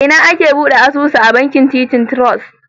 A ina ake bude asusu a bankin Titan Trust?